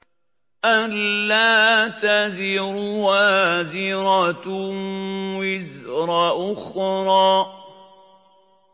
أَلَّا تَزِرُ وَازِرَةٌ وِزْرَ أُخْرَىٰ